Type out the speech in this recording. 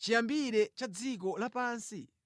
chiyambire cha dziko lapansi?